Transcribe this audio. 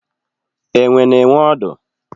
Enwe na enwe odu